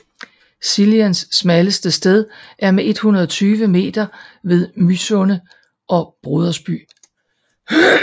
Sliens smalleste sted er med 120 meter ved Mysunde og Brodersby